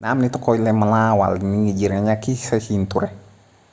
namni tokko illee mana waliin jireenyaa keessa hin turre